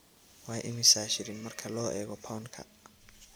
waa imisa shilin marka loo eego pound-ka